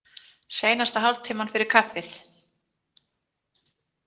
Seinasta hálftímann fyrir kaffið?